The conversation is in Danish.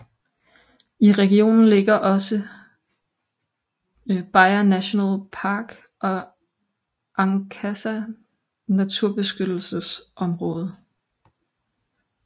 I regionen ligger også Bia National Park og Ankasa naturbeskyttelsesområde